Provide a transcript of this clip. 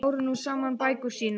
Þeir báru nú saman bækur sínar.